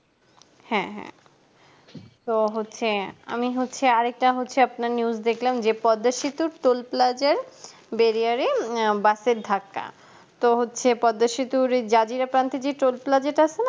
হ্যাঁ হ্যাঁ তো হচ্ছে আমি হচ্ছি আরেকটা হচ্ছে আপনার news দেখলাম যে পদ্মা সেতুর toll plaza এর barrier বাস এর ধাক্কা তো হচ্ছে পদ্মা সেতু জাজির একান্তে যে toll plaza তা আছে না